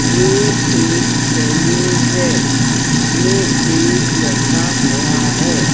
ये एक सलून है जिसमें एक लड़का खड़ा है।